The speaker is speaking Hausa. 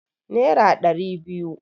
Nera ɗari biyu